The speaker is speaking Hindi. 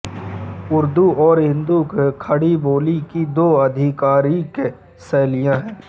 उर्दू और हिन्दी खड़ीबोली की दो आधिकारिक शैलियाँ हैं